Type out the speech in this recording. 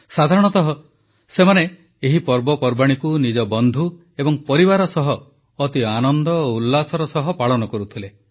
ସାଧାରଣତଃ ସେମାନେ ଏହି ପର୍ବପର୍ବାଣୀକୁ ନିଜ ବନ୍ଧୁ ଏବଂ ପରିବାର ସହ ଅତି ଆନନ୍ଦ ଓ ଉଲ୍ଲାସର ସହ ପାଳନ କରୁଥିଲେ